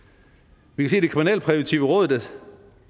vi kan det kriminalpræventive råd